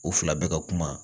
U fila bɛɛ ka kuma